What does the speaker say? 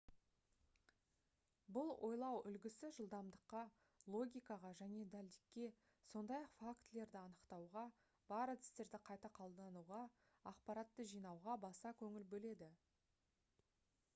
бұл ойлау үлгісі жылдамдыққа логикаға және дәлдікке сондай-ақ фактілерді анықтауға бар әдістерді қайта қолдануға ақпаратты жинауға баса көңіл бөледі